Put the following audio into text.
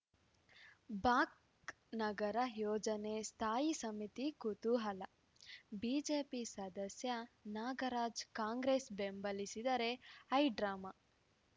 ಬಾಕ್ ನಗರ ಯೋಜನೆ ಸ್ಥಾಯಿ ಸಮಿತಿ ಕುತೂಹಲ ಬಿಜೆಪಿ ಸದಸ್ಯ ನಾಗರಾಜ್‌ ಕಾಂಗ್ರೆಸ್‌ ಬೆಂಬಲಿಸಿದರೆ ಹೈಡ್ರಾಮಾ